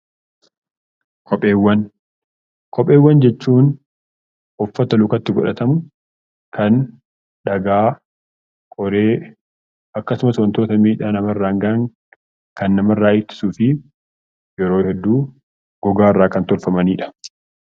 Kopheewwan jechuun uffata lukatti godhatamu kan dhagaa, qoree akkasumas wantoota miidhaa namarraan gahan kan namarraa ittisuu fi yeroo hedduu gogaarraa kan tolfamanidha.